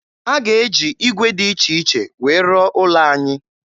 A ga-eji ígwè dị iche iche wee rụọ ụlọ anyị